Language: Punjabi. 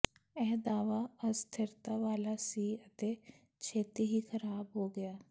ਇਹ ਦਾਅਵਾ ਅਸਥਿਰਤਾ ਵਾਲਾ ਸੀ ਅਤੇ ਛੇਤੀ ਹੀ ਖਰਾਬ ਹੋ ਗਿਆ